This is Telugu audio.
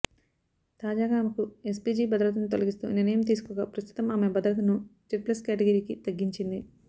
తాజాగా ఆమెకి ఎస్పీజీ భద్రతను తొలగిస్తూ నిర్ణయం తీసుకోగా ప్రస్తుతం ఆమె భద్రతను జడ్ ప్లస్ కేటగిరీకి తగ్గించింది